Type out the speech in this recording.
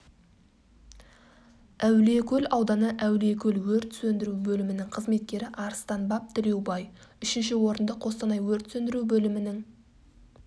әулиекөл ауданы әулиекөл өрт сөндіру бөлімінің қызметкері арыстанбап тілеубай үшінші орынды қостанай өрт сөндіру бөлімінің